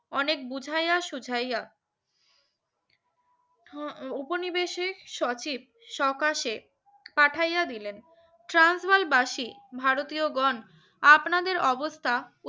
অনেক বুঝাইয়া সুঝাইয়া আহ উপনিবেশে সচিব সকাশে পাঠাইয়া দিলেন ট্রান্স হল বাসি ভারতীয়গন আপনাদের অবস্থা